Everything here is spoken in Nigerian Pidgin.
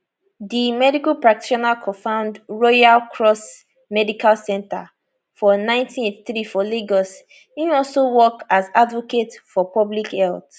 di medical practitioner cofound royal cross medical centre for 1983 for lagos im also work as advocate for public health